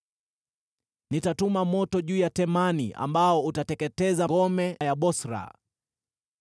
Nitatuma moto juu ya Temani ambao utateketeza ngome za Bosra.”